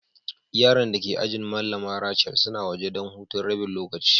Yaran da ke ajina Mallama Rachel suna waje dan hutun rabin lokaci.